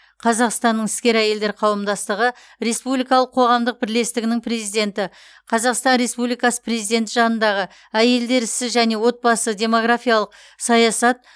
қазақстанның іскер әйелдер қауымдастығы республикалық қоғамдық бірлестігінің президенті қазақстан республикасы президенті жанындағы әйелдер ісі және отбасы демографиялық саясат